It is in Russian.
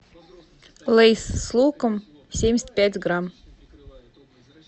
лейс с луком семьдесят пять грамм